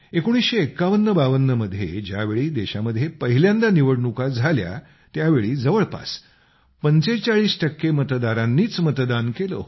195152 मध्ये ज्यावेळी देशामध्ये पहिल्यांदा निवडणुका झाल्या त्यावेळी जवळपास 45 टक्के मतदारांनीच मतदान केलं होतं